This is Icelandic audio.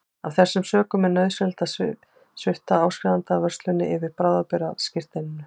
Af þessum sökum er nauðsynlegt að svipta áskrifanda vörslum yfir bráðabirgðaskírteininu.